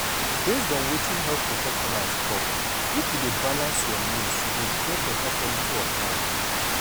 based on wetin health professionals talk if you dey balance your meals you go get beta quality of life.